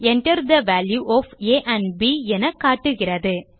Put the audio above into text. Enter the value of a and b என காட்டுகிறது